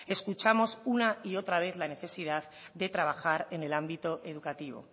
escuchamos una y otra vez la necesidad de trabajar en el ámbito educativo